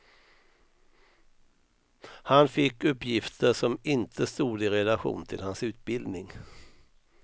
Han fick uppgifter som inte stod i relation till hans utbildning.